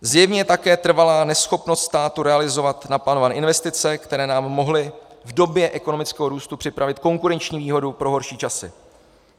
Zjevně také trvalá neschopnost státu realizovat naplánované investice, které nám mohly v době ekonomického růstu připravit konkurenční výhodu pro horší časy.